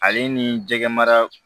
Ale ni jɛgɛ mara